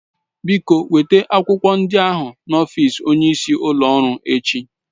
Biko weta akwụkwọ ndị ahụ n'ọfịs onyeisi ụlọ ọrụ echi